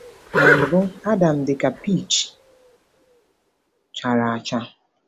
“Na mbụ Adam dị ka peach chara acha.”